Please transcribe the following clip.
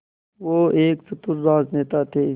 वो एक चतुर राजनेता थे